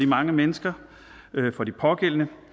mange mennesker for de pågældende